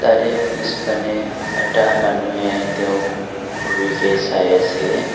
ইয়াৰে পিছপানে এটা মানুহে তেওঁক ঘূৰিকে চাই আছে।